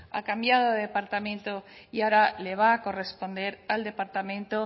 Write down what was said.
ha cambiado de departamento y ahora le va a corresponder al departamento